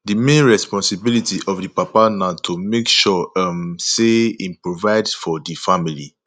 di main responsibility of di papa na to make sure um sey im provide for di family